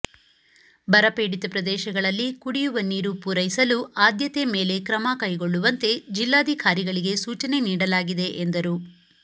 ಬರಪೀಡಿತ ಪ್ರದೇಶಗಳಲ್ಲಿ ಕುಡಿಯುವ ನೀರು ಪೂರೈಸಲು ಆದ್ಯತೆ ಮೇಲೆ ಕ್ರಮ ಕೈಗೊಳ್ಳುವಂತೆ ಜಿಲ್ಲಾಧಿಕಾರಿಗಳಿಗೆ ಸೂಚನೆ ನೀಡಲಾಗಿದೆ ಎಂದರು